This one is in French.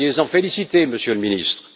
Soyez en félicité, Monsieur le Ministre.